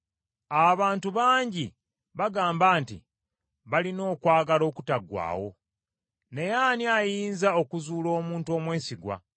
Abantu bangi bagamba nti balina okwagala okutaggwaawo, naye ani ayinza okuzuula omuntu omwesigwa?